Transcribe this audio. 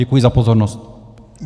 Děkuji za pozornost.